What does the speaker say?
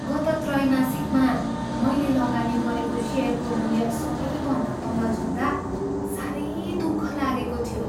गत त्रैमासिकमा मैले लगानी गरेको सेयरको मूल्य सबैभन्दा तल झर्दा साह्रै दुःख लागेको थियो।